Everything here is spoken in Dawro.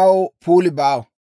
aw puuli baawa.